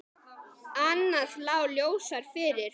Annað lá ljósar fyrir.